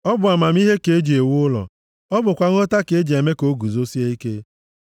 Ọ bụ amamihe ka e ji ewu ụlọ, ọ bụkwa nghọta ka e ji eme ka o guzosie ike.